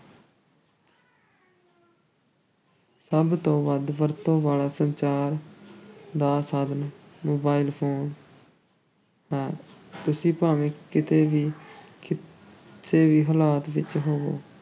ਸਭ ਤੋਂ ਵੱਧ ਵਰਤੋਂ ਵਾਲਾ ਸੰਚਾਰ ਦਾ ਸਾਧਨ mobile phone ਹੈ, ਤੁਸੀਂ ਭਾਵੇਂ ਕਿਤੇ ਵੀ, ਕਿਸੇ ਵੀ ਹਾਲਤ ਵਿੱਚ ਹੋਵੋ,